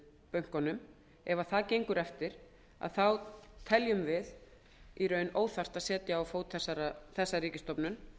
bönkunum teljum við í raun óþarft að setja á fót þessa ríkisstofnun